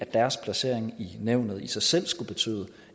deres placering i nævnet i sig selv skulle betyde